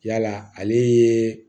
Yala ale ye